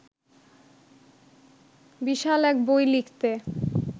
বিশাল এক বই লিখতে